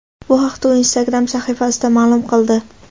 Bu haqda u Instagram sahifasida ma’lum qildi.